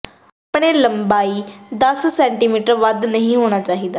ਆਪਣੇ ਲੰਬਾਈ ਦਸ ਸੈਟੀਮੀਟਰ ਵੱਧ ਨਹੀ ਹੋਣਾ ਚਾਹੀਦਾ ਹੈ